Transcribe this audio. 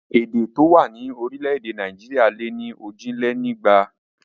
Èdè tó wà ní orílẹ̀ èdè Nàìjíríà lé ní òjìlénígba